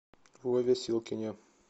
вове силкине